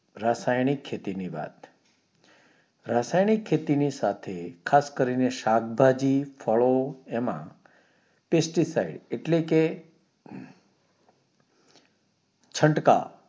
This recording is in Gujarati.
રાસાયણિક ખેતી ની વાત રાસાયણિક ખેતી ની સાથે ખાસ કરીને શાકભાજી ફાળો એમાં PESTIFIED એટલે કે છંટકાવ